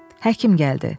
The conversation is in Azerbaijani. Həkim gəldi.